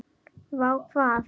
Vá hvað?